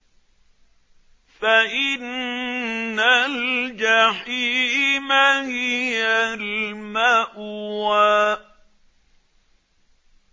فَإِنَّ الْجَحِيمَ هِيَ الْمَأْوَىٰ